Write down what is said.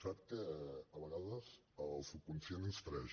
sap que a vegades el subconscient ens traeix